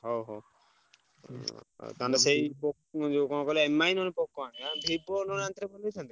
ହଉ ହଉ ତାହେଲେ ସେଇ ପୋ~ ଯୋଉ କଣ କହିଲ Mi ନହେଲେ Vivo ନହେଲେ ଆଣିଥେଲେ ଭଲ ହେଇଥାନ୍ତା?